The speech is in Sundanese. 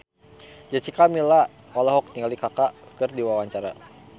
Jessica Milla olohok ningali Kaka keur diwawancara